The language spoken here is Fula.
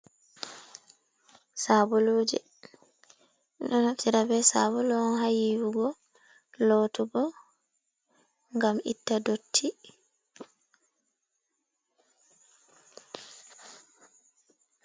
Saboluje, ɓe ɗo naftira be sabulu on ha yiwugo, lootugo, ngam itta dotti.